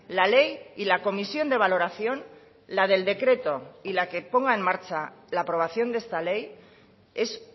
la ley y la comisión de valoración la del decreto y la que ponga en marcha la aprobación de esta ley es